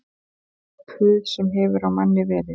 Puð sem hefur á manni verið